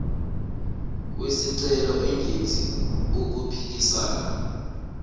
wesicelo engenzi okuphikisana